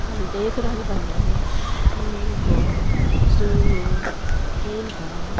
हम देख रहल बानी इ एगो स्विमिंग पूल बा।